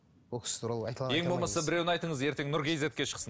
бұл кісі туралы ең болмаса біреуін айтыңыз ертең нұркизетке шықсын